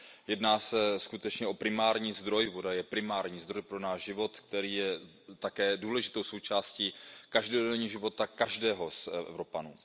Jedná se skutečně o primární zdroj, voda je primární zdroj pro náš život, který je také důležitou součástí každodenního života každého z Evropanů.